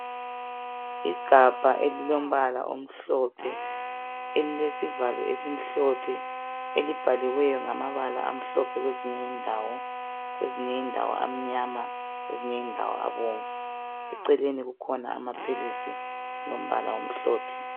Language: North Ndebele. Igabha elilombala omhlophe, elilesivalo esimhlophe, elibhaliweyo ngamabala amhlophe kwezinye ndawo, kwezinye indawo amnyama kwezinye indawo abomvu .Eceleni kukhona amaphilisi alombala omhlophe.